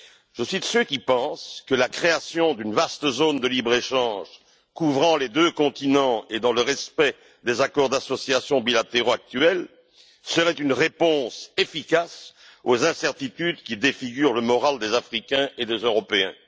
Je suis de ceux qui pensent que la création d'une vaste zone de libre échange couvrant les deux continents et dans le respect des accords d'association bilatéraux actuels serait une réponse efficace aux incertitudes qui défigurent le moral des Africains et des Européens.